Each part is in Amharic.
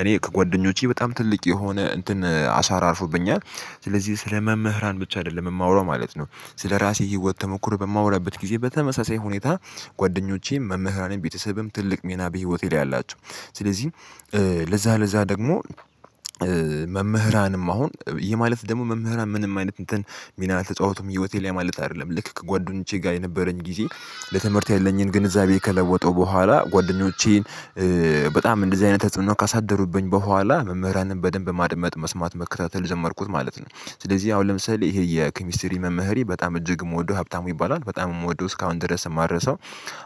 እኔ ከጓደኞቼ በጣም ትልቅ የሆነ እንትን አሻራ አርፎብኛል። ስለዚህ ስለ መምህራን ብቻ አይደለም የማወራው ማለት ነው። ስለራሴ የህይወት ተሞክሮ በማወራበት ጊዜ በተመሳሳይ ሁኔታ ጓደኞቼም መምህራኔም ቤተሰብም ትልቅ ሚና በህይወቴ ላይ አላቸው። ስለዚህ ለዛ ለዛ ደግሞ መምህራንም አሁን ይሄ ማለት ደግሞ መምህራን ምንም አይነት እንትን ሚና አልተጫወቱም ህይወቴ ላይ ማለት አይደለም ልክ ከጓደኞቼ ጋር የነበረኝ ጊዜ ለትምህርት ያለኝን ግንዛቤ ከለወጠው በኋላ ጓደኞቼን በጣም እንደዚህ አይነት ተጽዕኖ ካሳደሩብኝ በኋላ መምህራንን በደንብ ማድመጥ መስማት መከታተል ጄመርኩ ማለት ነው። ስለዚህ ያው ለምሳሌ ይሄ የኪሚስትሪ መምህሬ በጣም እጅግ የምወደው ሀብታሙ ይባላል በጣም የምወደው እስካሁን ድረስ የማረሳው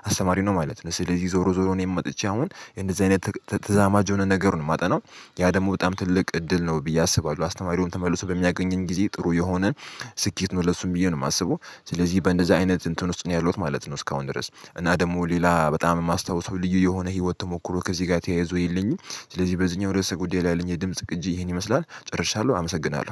አስተማሪ ነው ማለት ነው። ስለዚህ ዞሮ ዞሮ ነው እኔም መጥቼ አሁን እንደዚህ አይነት ተዛማጅ የሆነ ነገር ነው የማጠናው ያ ደግሞ በጣም ትልቅ እድል ነው ብዬ አስባለሁ አስተማሪውን ተመልሶ በሚያገኝን ጊዜ ጥሩ የሆነን ስኬት ነው ለሱም ብዬ ነው የማስበው። ስለዚህ በእንደዚህ አይነት እንትን ውስጥ ነው ያለውት ማለት ነው። እስካሁን ድረስ እና ደግሞ ሌላ በጣም የማስታውሰው ልዩ የሆነ ህይወት ተሞክሮ ከዚህ ጋር ተያይዞኝልኝ ስለዚህ በዚህኛው ድረስ ጉዳይ ላይ ለኝ የድምጽ ቅጂ ይሄን ይመስላል ጨርሻለሁ አመሰግናለሁ